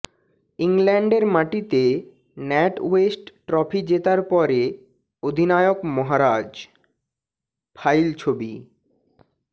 ইংল্যান্ডের মাটিতে NatWest trophy জেতার পরে অধিনায়ক মহারাজ ফাইল ছবি